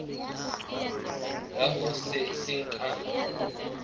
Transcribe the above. ya ho se seng ka